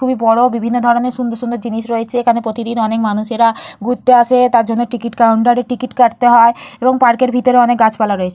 খুবই বড় বিভিন্ন ধরনের সুন্দর সুন্দর জিনিস রয়েছে এখানে প্রতিদিন অনেক মানুষেরা ঘুরতে আসে তার জন্য টিকিট কাউন্টার এ টিকিট কাটতে হয় এবং পার্ক এর ভিতর অনেক গাছপালা রয়েছ--